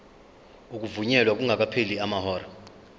ukuvunyelwa kungakapheli amahora